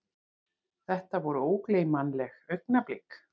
Þetta voru ógleymanleg augnablik.